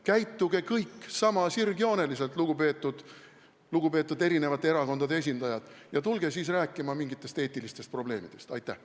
Käituge kõik sama sirgjooneliselt, lugupeetud eri erakondade esindajad, ja tulge siis rääkima mingitest eetilistest probleemidest!